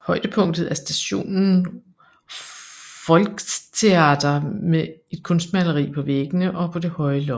Højdepunktet er stationen Volkstheater med et kunstmaleri på væggene og på det høje loft